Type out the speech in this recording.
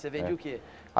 Você vendia o quê?